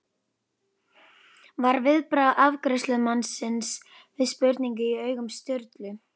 var viðbragð afgreiðslumannsins við spurninni í augum Sturlu.